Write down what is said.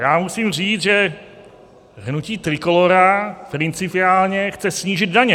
Já musím říci, že hnutí Trikolóra principiálně chce snížit daně.